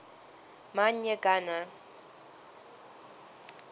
man y gana